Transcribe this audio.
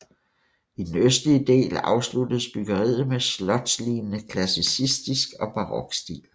I den østlige del afsluttes byggeriet med slotslignende klassisistisk og barok stil